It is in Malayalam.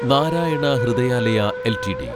നാരായണ ഹൃദയാലയ എൽറ്റിഡി